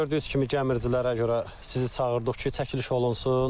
Gördüyünüz kimi gəmiricilərə görə sizi çağırdıq ki, çəkiliş olunsun.